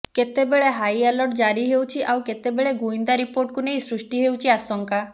କେତେବେଳେ ହାଇଆଲର୍ଟ ଜାରି ହେଉଛି ଆଉ କେତେବେଳେ ଗୁଇନ୍ଦା ରିପୋର୍ଟକୁ ନେଇ ସୃଷ୍ଟି ହେଉଛି ଆଶଙ୍କା